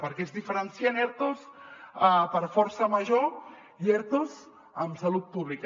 perquè és diferencien ertos per força major i ertos en salut pública